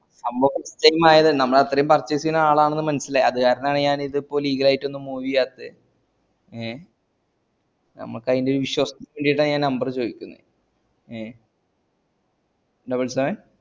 നമ്മ first time ആയതാണേ നമ്മൾ അത്രേ purchase ചെയ്യുന്ന ആൾ ആണെന്ന് മനസിലായി അത് കാരണം ആണേ ഞാൻ ഇത് ഇപ്പൊ legal ആയിട്ടൊന്നു move ചെയ്യാത്തെ ഏ നമ്മക്ക് അയിന്റെ വിശ്വാസ് ണ്ടെന്ന് number ചോയിക്കുന്നെ ഏ